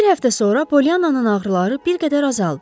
Bir həftə sonra Pollyananın ağrıları bir qədər azaldı.